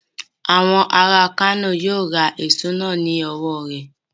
Àwọn ará Kano yíó ra èso náà lọ́wọ̀ rẹ..